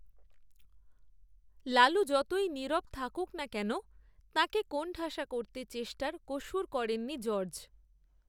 লালু যতই নীরব থাকুন না কেন, তাঁকে কোণঠাসা করতে চেষ্টার কসুর করেননি জর্জ